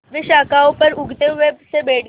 वे शाखाओं पर ऊँघते हुए से बैठे थे